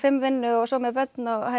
vinnu og svo með börn